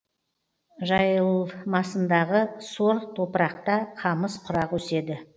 жайылмасындағы сор топырақта қамыс құрақ өседі